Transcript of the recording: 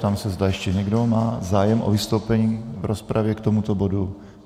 Ptám se, zda ještě někdo má zájem o vystoupení v rozpravě k tomuto bodu.